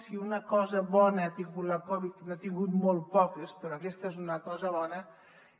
si una cosa bona ha tingut la covid n’ha tingut molt poques però aquesta és una cosa bona